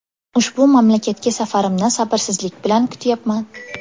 Ushbu mamlakatga safarimni sabrsizlik bilan kutyapman.